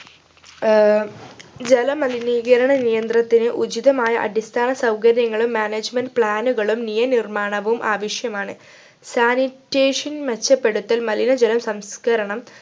ആഹ് ജല മലിനീകരണനിയന്ത്രണത്തിനു ഉചിതമായ അടിസ്ഥാന സൗകര്യങ്ങളും management plan കളും നിയ നിർമാണവും ആവശ്യമാണ് sanitation മെച്ചപ്പെടുത്തൽ മലിനജലം സംസ്കരണം